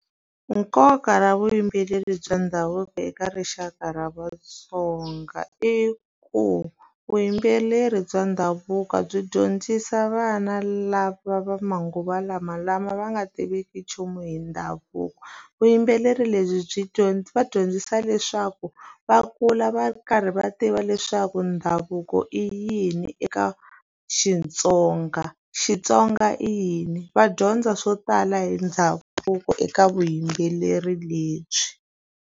Nkoka wa vuyimbeleri bya ndhavuko eka rixaka ra vatsonga i ku vuyimbeleri bya ndhavuko byi dyondzisa vana lava va manguva lama lama va nga tiveki nchumu hi ndhavuko vuyimbeleri lebyi byi byi va dyondzisa leswaku va kula va karhi va tiva leswaku ndhavuko i yini eka Xitsonga Xitsonga i yini va dyondza swo tala hi ndhavuko eka vuyimbeleri lebyi.